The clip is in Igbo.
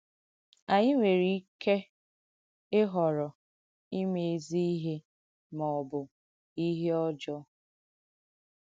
Ànyị nwērē ìkẹ ìhọ̀rọ̀ ìmẹ̀ èzī ihe ma ọ bụ ihe ọ̀jọ̀.